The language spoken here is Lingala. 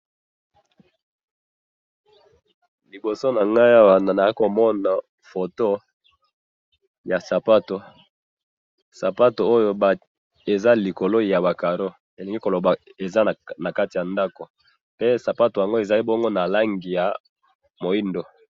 Liboso na ngai awa naa komona photo ya sapato, sapato oyo eza likolo yaba carreaux, elingi ko loba eza na kati ya ndako, pe sapato yango ezali bongo na langi ya moindo.